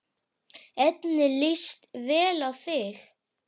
Henni líst vel á þig.